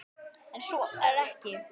En svo var ekki.